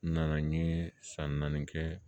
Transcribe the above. N nana n ye san naani kɛ